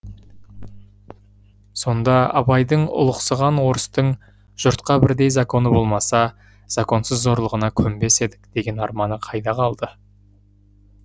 сонда абайдың ұлықсыған орыстың жұртқа бірдей законы болмаса законсыз зорлығына көнбес едік деген арманы қайда қалды